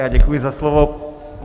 Já děkuji za slovo.